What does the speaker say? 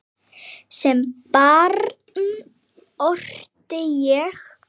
Sem barn orti ég.